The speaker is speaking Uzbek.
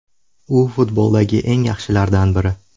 U futboldagi eng yaxshilardan biri”.